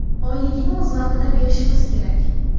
Oyligini o‘z vaqtida berishimiz kerak.